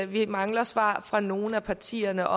vi mangler svar fra nogle af partierne